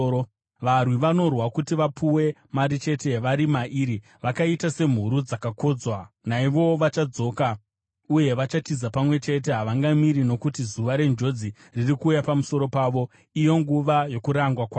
Varwi vanorwa kuti varipirwe mari chete vari mairi, vakaita semhuru dzakakodzwa. Naivowo vachatendeuka uye vachatiza pamwe chete, havangamiri panzvimbo yavo, nokuti zuva renjodzi riri kuuya pamusoro pavo, nguva yokurangwa kwavo.